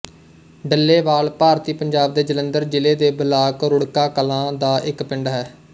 ਡੱਲੇਵਾਲ ਭਾਰਤੀ ਪੰਜਾਬ ਦੇ ਜਲੰਧਰ ਜ਼ਿਲ੍ਹੇ ਦੇ ਬਲਾਕ ਰੁੜਕਾ ਕਲਾਂ ਦਾ ਇੱਕ ਪਿੰਡ ਹੈ